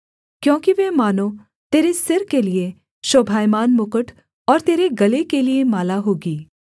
क्योंकि वे मानो तेरे सिर के लिये शोभायमान मुकुट और तेरे गले के लिये माला होगी